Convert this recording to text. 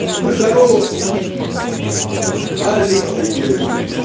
здорово всем алекс привет